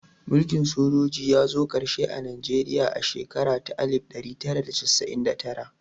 Mulkin sojoji ya zo ƙarshe a Najeriya a shekara ta alif ɗari tara da casa'in da tara